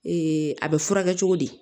a bɛ furakɛ cogo di